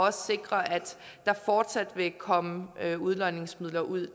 at sikre at der fortsat vil komme udlodningsmidler ud